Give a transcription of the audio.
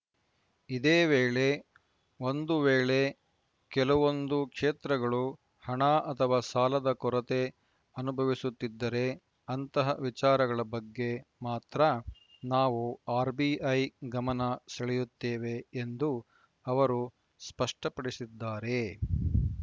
ಇದೇ ವೇಳೆ ಒಂದು ವೇಳೆ ಕೆಲವೊಂದು ಕ್ಷೇತ್ರಗಳು ಹಣ ಅಥವಾ ಸಾಲದ ಕೊರತೆ ಅನುಭವಿಸುತ್ತಿದ್ದರೆ ಅಂತಹ ವಿಚಾರಗಳ ಬಗ್ಗೆ ಮಾತ್ರ ನಾವು ಆರ್‌ಬಿಐ ಗಮನ ಸೆಳೆಯುತ್ತೇವೆ ಎಂದು ಅವರು ಸ್ಪಷ್ಟಪಡಿಸಿದ್ದಾರೆ